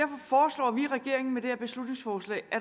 her beslutningsforslag at